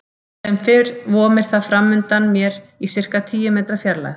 Sem fyrr vomir það framundan mér í sirka tíu metra fjarlægð.